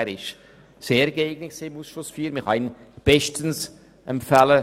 Er ist sehr geeignet und man kann ihn als Oberrichter bestens empfehlen.